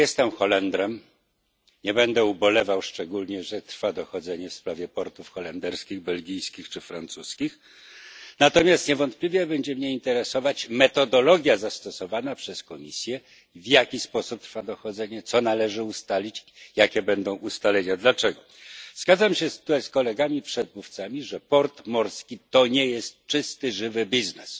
Nie jestem Holendrem, nie będę ubolewał szczególnie, że trwa dochodzenie w sprawie portów holenderskich, belgijskich czy francuskich. Natomiast niewątpliwie będzie mniej interesować metodologia zastosowana przez Komisję, w jaki sposób przebiega dochodzenie, co należy ustalić, jakie będą ustalenia, dlaczego. Zgadzam się tutaj z kolegami przedmówcami, że port morski to nie jest czysty żywy biznes.